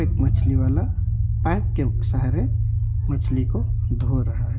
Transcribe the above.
मछली वाला पाइप के सहारे मछली को धो रहा है।